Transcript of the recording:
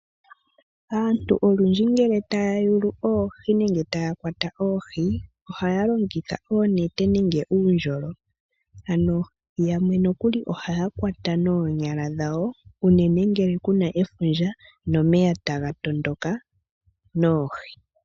Aantu olundji ngele taya yulu oohi nenge ngele taya kwata oohi, ohaya longitha oonete nenge uundjolo, ano yamwe nokuli ohaya kwatana noonyala dhawo unene ngele kuna efundja nenge omeya taga tondoka noohi.